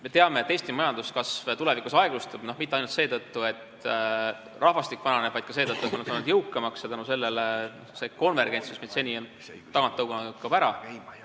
Me teame, et Eesti majanduskasv tulevikus aeglustub – mitte ainult seetõttu, et rahvastik vananeb, vaid ka seetõttu, et inimesed saavad jõukamaks ja tänu sellele see konvergents, mis meid seni tagant on tõuganud, kaob ära.